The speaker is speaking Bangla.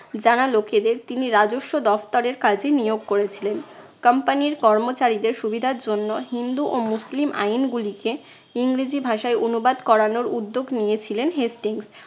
জানা লোকেদের তিনি রাজস্ব দফতরের কাজে নিয়োগ করেছিলেন। company র কর্মচারীদের সুবিধার জন্য হিন্দু ও মুসলিম আইনগুলিকে ইংরেজি ভাষায় অনুবাদ করানোর উদ্যোগ নিয়েছিলেন হেস্টিংস।